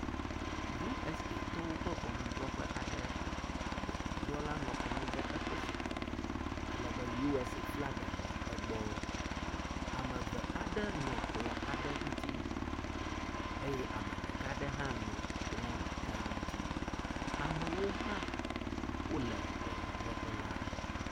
U.S.A tɔwo ƒe ŋɔnudzrɔƒe aɖe, ŋɔnudrɔla nɔ anyi ɖe eƒe zikpui me ale be U.S.A flaga nɔ egbɔ. Ame eve aɖe nɔ kplɔ̃ aɖe ŋuti eye ame ɖeka aɖe hã nɔ kplɔ̃ ɖeka aɖe ŋuti. Ame aɖewo hã wole ŋɔnudrɔƒe la.